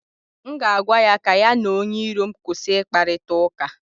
m ga-agwa ya ka ya na onye iro m kwụsị ịkparịta ụka